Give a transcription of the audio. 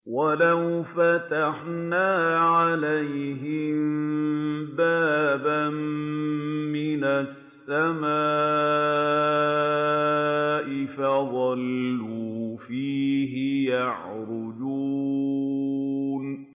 وَلَوْ فَتَحْنَا عَلَيْهِم بَابًا مِّنَ السَّمَاءِ فَظَلُّوا فِيهِ يَعْرُجُونَ